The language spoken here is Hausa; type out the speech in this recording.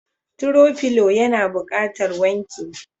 "throw pillow" yana buƙatar wanke.